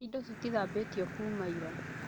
Indo citithambĩtio kuuma ira